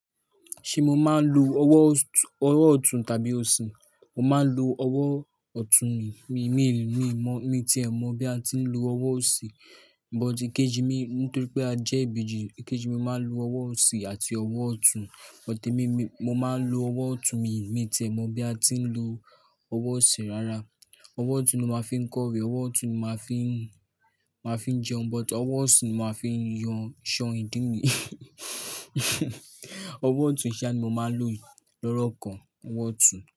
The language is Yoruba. Ṣé mo máa ń lo ọwọ́ ọ̀tún tàbí òsì? Mo máa ń lo ọwọ́ ọ̀tún mi, mi, mi, mi, mi tí è mo bí a ti ń lo ọwọ́ òsì, but kejimi nítorí pé a jẹ́ ìbejì, kejimi màá lo ọwọ́ òsì àti ọwọ́ ọ̀tún, but mo máa ń lo ọwọ́ ọ̀tún mi, mi tí è mo bí a ti ń lo ọwọ́ òsì rárá. Ọwọ́ ọ̀tún ni mo máa ń fi kọrin, ọwọ́ ọ̀tún ni mo máa fi ń, máa fi ń jẹun, but ọwọ́ òsì ni mo máa ń fi ń yan ṣan ìdí mi. Ọwọ́ ọ̀tún iṣẹ́ ni mo máa ń lò lórọ́kàn. Ọwọ́ ọ̀tún.